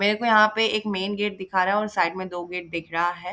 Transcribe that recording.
मेरे को यहां पे एक मैंन गेट दिखा रहा है और साइड में दो गेट दिख रहा है।